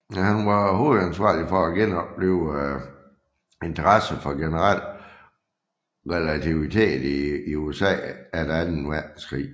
Han var hovedansvarlig for at genoplive interessen for generel relativitet i USA efter anden verdenskrig